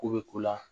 Ko bɛ k'u la